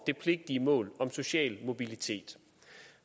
det pligtige mål om social mobilitet